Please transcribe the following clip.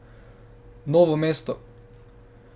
Novo mesto.